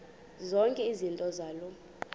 zonke izinto zaloo